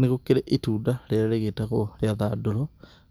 Nĩgũkĩrĩ itunda rĩrĩa rĩgĩtagwo rĩa thandũro